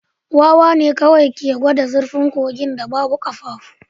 Wawa ne kawai ke gwada zurfin kogin da babu ƙafafu